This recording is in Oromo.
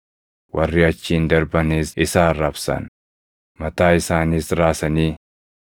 Warri achiin darbanis isa arrabsan; mataa isaaniis raasanii,